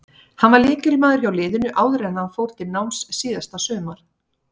Hann var lykilmaður hjá liðinu áður en hann fór til náms síðasta sumar.